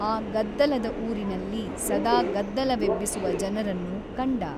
ಆ ಗದ್ದಲದ ಊರಿನಲ್ಲಿ ಸದಾ ಗದ್ದಲವೆಬ್ಬಿಸುವ ಜನರನ್ನು ಕಂಡ.